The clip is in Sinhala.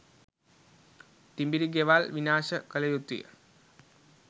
තිඹිරි ගෙවල් විනාශ කලයුතුයි.